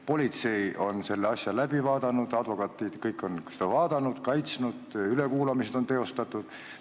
Politsei on selle asja läbi vaadanud, advokaadid on seda vaadanud, ülekuulamised on teostatud.